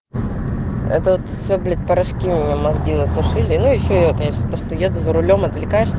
это от все блять порошки мне мозги насушили ну ещё я конечно то что еду за рулём отвлекаешься